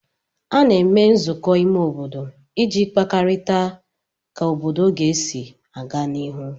A na-eme nzụkọ ime obodo iji kparịta ka obodo ga-esi aga n'iru